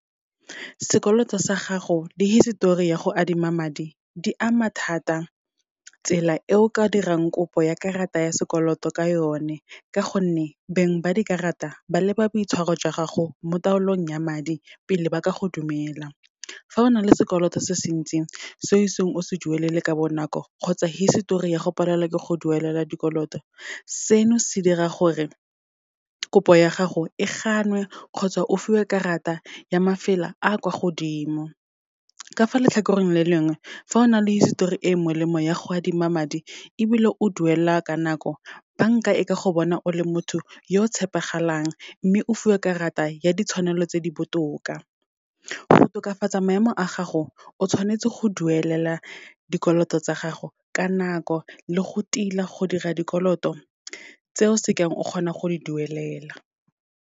Sekoloto sa gago, di hisetori ya go adima madi, di ama thata tsela e o ka dirang kopo ya karata ya sekoloto ka yone, ka gonne beng ba dikarata ba leba boitshwaro jwa gago mo taolong ya madi, pele ba ka go dumela. Fa o na le sekoloto se se ntsi, se iseng o se duelele ka bonako, kgotsa hisetori ya go palelwa ke go duelela dikoloto, seno se dira gore kopo ya gago e gannwe kgotsa o fiwe karata ya mafela a kwa godimo. Ka fa letlhakoreng le lengwe, fa o na le hisetori e e molemo ya go adima madi, ebile o duela ka nako, banka e ka go bona o le motho yo o tshepegalang, mme o fiwa karata ya ditshwanelo tse di botoka. Go tokafatsa maemo a gago, o tshwanetse go duelela dikoloto tsa gago ka nako, le go tila go dira dikoloto tseo se keng o kgona go di duelela.